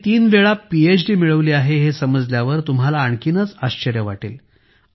त्यांनी तीन वेळा पीएचडी मिळवली आहे हे समजल्यावर तुम्हांला आणखीनच आश्चर्य वाटेल